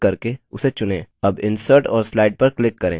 अब insert और slide पर click करें